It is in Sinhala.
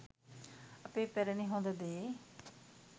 අපේ පැරණි හොඳ දේ